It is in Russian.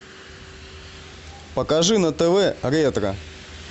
покажи на тв ретро